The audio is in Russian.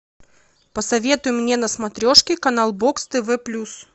посоветуй мне на смотрешке канал бокс тв плюс